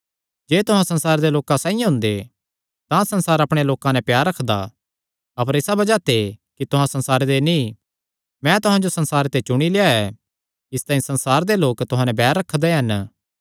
जे तुहां संसारे दे लोकां साइआं हुंदे तां संसार अपणेयां लोकां नैं प्यार रखदा अपर इसा बज़ाह ते कि तुहां संसारे दे नीं मैं तुहां जो संसारे ते चुणी लेआ ऐ इसतांई संसार दे लोक तुहां नैं बैर रखदा हन